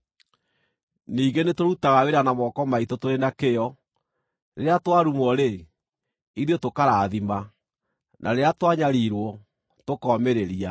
Ningĩ nĩtũrutaga wĩra na moko maitũ tũrĩ na kĩyo. Rĩrĩa twarumwo-rĩ, ithuĩ tũkarathima; na rĩrĩa twanyariirwo, tũkomĩrĩria;